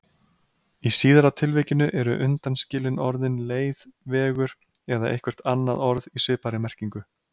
Í síðara tilvikinu eru undanskilin orðin leið, vegur eða eitthvert annað orð í svipaðri merkingu.